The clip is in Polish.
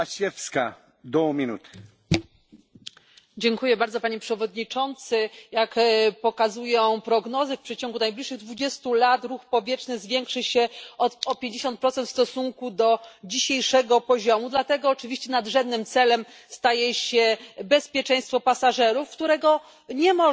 Panie Przewodniczący! Jak pokazują prognozy, w przeciągu najbliższych 20 lat ruch powietrzny zwiększy się o 50 procent w stosunku do dzisiejszego poziomu. Dlatego oczywiście nadrzędnym celem staje się bezpieczeństwo pasażerów, którego nie można zwiększyć bez inwestycji w innowacje i nowe technologie.